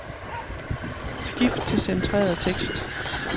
Skift til centreret tekst.